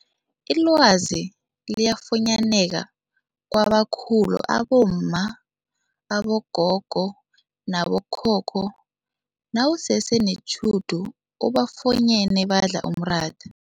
Ilwazi liyafunyaneka kwabakhulu abomma, abogogo nabo khokho nawusese netjhudu ubafunyene badla umratha.